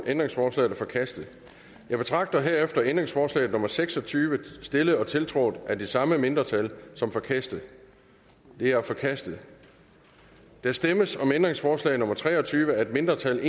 ændringsforslaget er forkastet jeg betragter herefter ændringsforslag nummer seks og tyve stillet og tiltrådt af de samme mindretal som forkastet det er forkastet der stemmes om ændringsforslag nummer tre og tyve af et mindretal